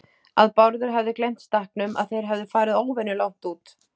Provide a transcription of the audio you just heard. Að Bárður hefði gleymt stakknum, að þeir hefðu farið óvenju langt út.